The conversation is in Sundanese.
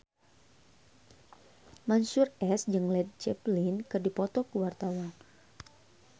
Mansyur S jeung Led Zeppelin keur dipoto ku wartawan